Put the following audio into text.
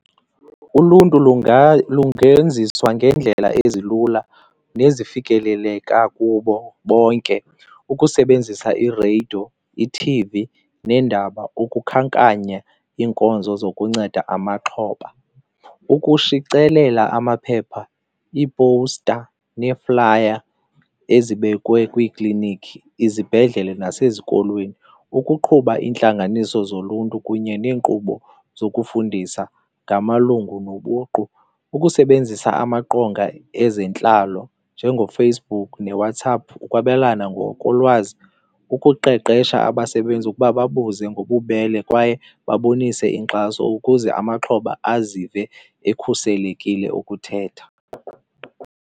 Uluntu lungenziswa ngeendlela ezilula nezifikeleleka kubo bonke, ukusebenzisa ireyidiyo, ithivi neendaba ukukhankanya iinkonzo zokunceda amaxhoba. Ukushicelela amaphepha, iipowusta neeflaya ezibekwe kwiiklinikhi, izibhedlele nasezikolweni. Ukuqhuba iintlanganiso zoluntu kunye neenkqubo zokufundisa ngamalungu nobuqu. Ukusebenzisa amaqonga ezentlalo njengoFacebook neWhatApp ukwabelana ngokolwazi, ukuqeqesha abasebenzi ukuba babuze ngobubele kwaye babonise inkxaso ukuze amaxhoba azive ekhuselekile ukuthetha.